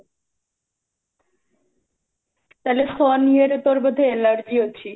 ତା'ହେଲେ sun ୟେ ରେ ତୋରୋ ବୋଧେ allergy ଅଛି?